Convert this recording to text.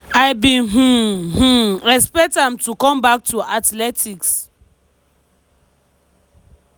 "i bin um um expect am to come back to athletics